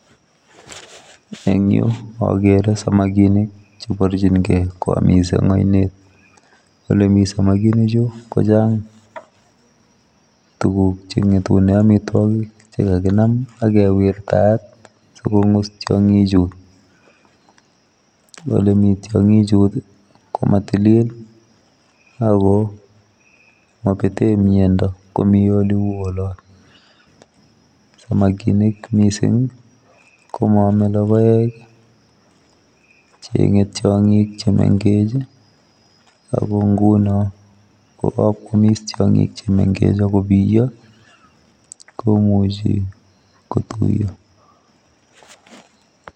Eng Yuu agere samakinik che barjingei koyamis eng ainet ole Mii samakinik chuu ko chaang tuguuk che ngetuneen amitwagiik che kaginam ak kewirtaat sikongus tiangiik chuu ole Mii tiangik chuu ko ma tilil ako mabeten miando komi oloon ,samakinik missing ko maame logoek ii chenge tiangik che mengeech ii ako ngunoon ko kakwamis tiangin che mengeech ako biyaa komuchei ko tuyaa.